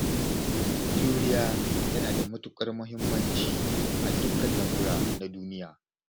Juriya tana da mutuƙar muhimmancin a dukkanin lamura na duniya.